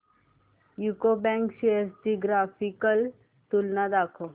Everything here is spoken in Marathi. यूको बँक शेअर्स ची ग्राफिकल तुलना दाखव